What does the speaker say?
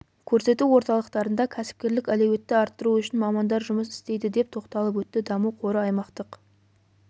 көрсету орталықтарында кәсіпкерлік әлеуетті арттыру үшін мамандар жұмыс істейді деп тоқталып өтті даму қоры аймақтық